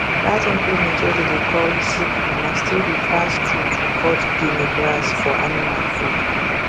that implement way dem dey call sickle na still the fast tool to cut guinea grass for animal food